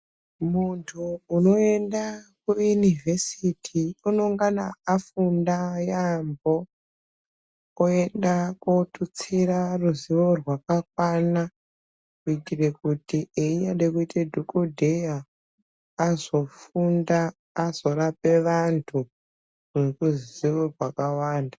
Muntu unoenda kuYunivesiti unongana afunda yaambo, oenda kootutsira ruzivo rwakakwana kuitira kuti einyade kuite Dhokodheya azofunda azorape vantu ngeruzivo rwakawanda.